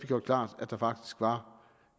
gjort klart at der faktisk var